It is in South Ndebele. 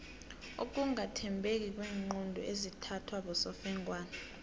ukungathembeki kweenqundu ezithathwa bosofengwana